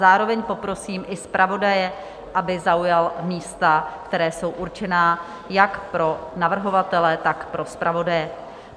Zároveň poprosím i zpravodaje, aby zaujal místa, která jsou určena jak pro navrhovatele, tak pro zpravodaje.